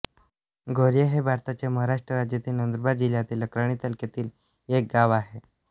गौऱ्या हे भारताच्या महाराष्ट्र राज्यातील नंदुरबार जिल्ह्यातील अक्राणी तालुक्यातील एक गाव आहे